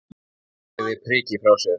Hún lagði prikið frá sér.